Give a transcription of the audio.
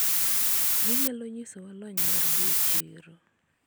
ginyalo nyisowa lony margi e chiro